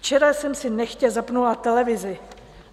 Včera jsem si nechtě zapnula televizi.